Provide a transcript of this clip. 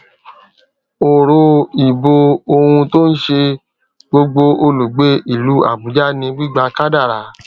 òrò ìbò ohun tó n ṣe gbogbo olùgbé ìlú àbújá ni gbígbà kádàrá